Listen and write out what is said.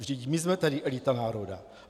Vždyť my jsme tady elita národa.